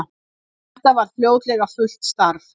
Þetta varð fljótlega fullt starf.